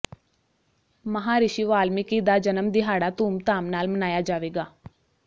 ਮਹਾਂਰਿਸ਼ੀ ਵਾਲਮੀਕੀ ਦਾ ਜਨਮ ਦਿਹਾੜਾ ਧੂਮਧਾਮ ਨਾਲ ਮਨਾਇਆ ਜਾਵੇਗਾ